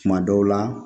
Kuma dɔw la